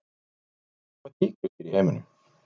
Hvar lifa tígrisdýr í heiminum?